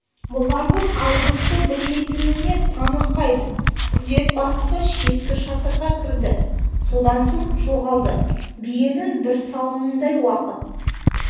бұлардың айдосты білмейтініне таңырқайды күзет бастығы шеткі шатырға кірді содан соң жоғалды биенің бір сауымындай уақыт